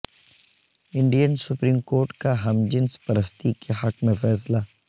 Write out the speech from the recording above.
Indian supreme court کا ہم جنس پرستی کے حق میں فیصلہ